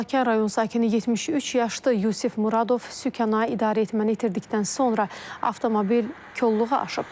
Balakən rayon sakini 73 yaşlı Yusif Muradov sükanı idarəetməni itirdikdən sonra avtomobil kolluğa aşıb.